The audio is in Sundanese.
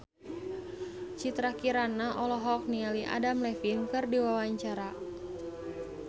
Citra Kirana olohok ningali Adam Levine keur diwawancara